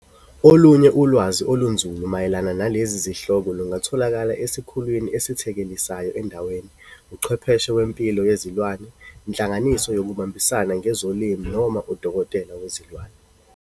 Olunye ulwazi olunzulu mayelana nalezi zihloko lungatholakala esikhulwini esithekelisayo endaweni, uchwepheshe wempilo yezilwane, inhlanganiso yokubambisana ngezolimo noma udokotela wezilwane.